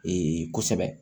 kosɛbɛ